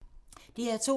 DR2